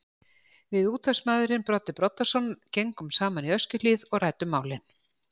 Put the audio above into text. Við útvarpsmaðurinn Broddi Broddason gengum saman í Öskjuhlíð og ræddum málin.